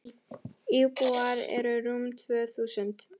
Íbúar eru rúm tvö þúsund.